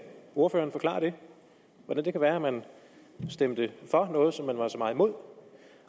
ordføreren forklare hvordan det kan være at man stemte for noget som man var så meget imod